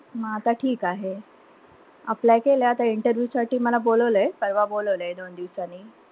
म आता ठीक आहे. Apply केलंय. आता interview साठी मला बोलवलंय. परवा बोलावलंय दोन दिवसांनी.